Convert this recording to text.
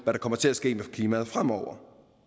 kommer til at ske med klimaet fremover